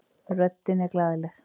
Röddin er glaðleg.